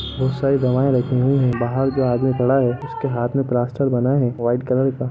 बहुत सारी दवाएं रखी हुई है बहार जो आदमी खड़ा है उसके हाथ में प्लास्टर बंधा है वाईट कलर का--